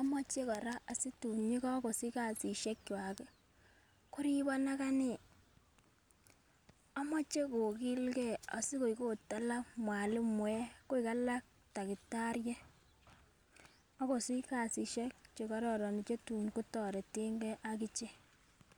imoche Koraa situn yekokosich kasishek kwak kii koribo akanee. Omoche kokilgee sikoik ot alak mwalimuek koik alak takitariek akosich kasishek chekororon chetun kotoretengee akichek.